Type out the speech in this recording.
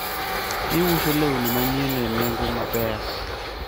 giuso lewni manyien e nengo maber